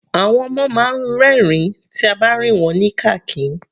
Àwọn ọmọ máa ń rin ẹ̀rín tí a bá rìn wọ́n ní kàkín.